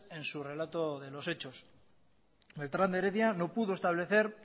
en su relato de los hechos beltrán de heredia no pudo establecer